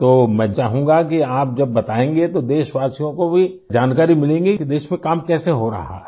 तो मैं चाहूँगा कि आप जब बताएंगे तो देशवासियों को भी जानकारी मिलेंगी कि देश में काम कैसे हो रहा है